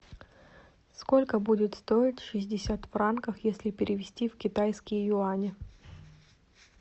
сколько будет стоить шестьдесят франков если перевести в китайские юани